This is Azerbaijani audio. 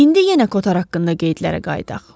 İndi yenə Kotar haqqında qeydlərə qayıdaq.